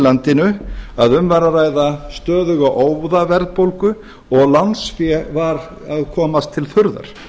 landinu að um var að ræða stöðuga óðaverðbólgu og lánsfé var að komast til þurrðar